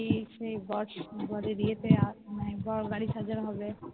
কি সেই বর বরের ইয়েতে মানে বর গাড়ি সাজানো হবে